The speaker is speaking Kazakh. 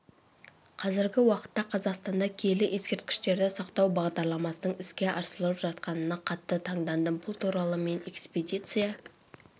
қазіргі уақытта қазақстанда киелі ескерткіштерді сақтау бағдарламасының іске асырылып жатқанына қатты таңдандым бұл туралы мен экспедиция